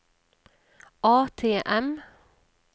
ATM